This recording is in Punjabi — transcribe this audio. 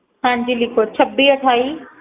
ਹਾਂਜੀ ਲਿਖੋ ਛੱਬੀ ਅਠਾਈ